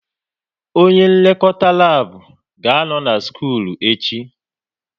Onye nlekọta lab ga-anọ na skul echi